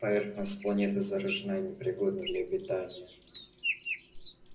поверхность планеты заражена и непригодна для обитания